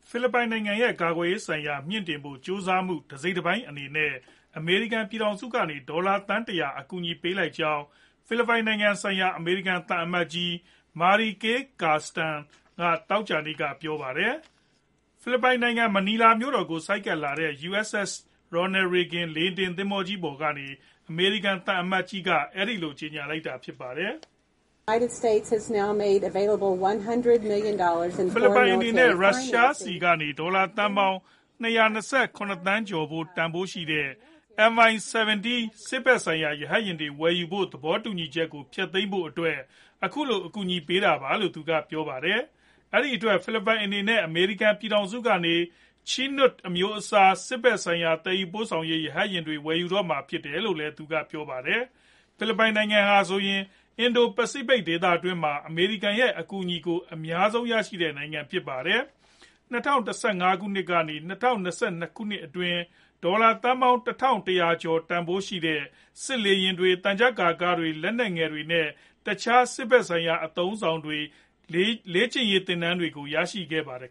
ဖိလစ်ပိုင်နိုင်ငံရဲ့ ကာကွယ်ရေးဆိုင်ရာ မြှင့်တင်ဖို့ ကြိုးစားမှု တစိတ်တပိုင်းအနေနဲ့ အမေရိကန် ပြည်ထောင်စုကနေ ဒေါ်လာသန်း ၁ဝဝ အကူအညီပေးလိုက်ကြောင်း ဖိလစ်ပိုင်နိုင်ငံဆိုင်ရာ အမေရိကန် သံအမတ်ကြီး Mary Kay Carlson က သောကြာနေ့က ပြောပါတယ်။ ဖိလစ်ပိုင်နိုင်ငံ မနီလာမြို့တော်ကို ဆိုက်ကပ်လာတဲ့ USS Ronald Reagan လေယာဉ်တင် သင်္ဘောကြီး ပေါ်ကနေ အမေရိကန် သံအမတ်ကြီးက အဲဒီလို ကြေညာလိုက်တာဖြစ်ပါတယ်။ ဖိလစ်ပိုင်အနေနဲ့ ရုရှားဆီကနေ ဒေါ်လာသန်းပေါင်း ၂၂၇ သန်းကျော် တန်ဖိုးရှိတဲ့ MI 17 စစ်ဖက်ဆိုင်ရာ ရဟတ်ယာဉ်တွေ ဝယ်ယူဖို့ သဘောတူညီချက်ကို ဖျက်သိမ်းဖို့အတွက် အခုလို အကူအညီပေးတာလို့ သူကပြောပါတယ်။ အဲဒီအတွက် ဖိလစ်ပိုင်အနေနဲ့ အမေရိကန် ပြည်ထောင်စုကနေ Chinook အမျိုးအစား စစ်ဖက်ဆိုင်ရာ သယ်ယူပို့ဆောင်ရေး ရဟတ်ယာဉ်တွေ ဝယ်ယူတော့မှာ ဖြစ်တယ်လို့ သူကပြောပါတယ်။ ဖိလစ်ပိုင်နိုင်ငံဟာဆိုရင် အင်ဒို ပစီဖိတ်ဒေသတွင်းမှာ အမေရိကန် ရဲ့ အကူညီကို အများဆုံးရရှိတဲ့နိုင်ငံဖြစ်ပါတယ်။ ၂ဝ၁၅ ကနေ ၂ဝ၂၂ ခုနှစ်အတွင်း ဒေါ်လာသန်းပေါင်း ၁၁ဝဝ ရာကျော်တန်ဖိုးရှိတဲ့ စစ်လေယာဉ်တွေ၊ သံချပ်ကာကားတွေ၊ လက်နက်ငယ်တွေ နဲ့ တခြား စစ်ဖက်ဆိုင်ရာ အသုံးအဆောင်တွေ နဲ့ လေ့ကျင်ရေးသင်တန်းတွေရရှိခဲ့ပါတယ်